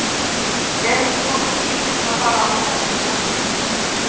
Er ekki kominn tími til að fara að róa þetta aðeins niður?